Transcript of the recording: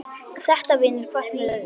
Þetta vinnur hvert með öðru.